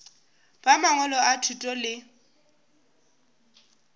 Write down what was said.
ba mangwalo a thuto le